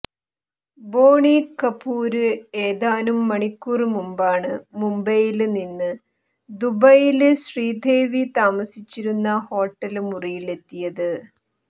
ബോണി കപൂര് ഏതാനും മണിക്കൂര് മുമ്പാണ് മുംബൈയില് നിന്ന് ദുബൈയില് ശ്രീദേവി താമസിച്ചിരുന്ന ഹോട്ടല് മുറിയിലെത്തിയത്